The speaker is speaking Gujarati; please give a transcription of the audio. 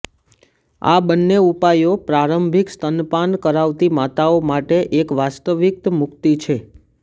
આ બંને ઉપાયો પ્રારંભિક સ્તનપાન કરાવતી માતાઓ માટે એક વાસ્તવિક મુક્તિ છે